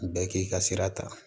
Bɛɛ k'i ka sira ta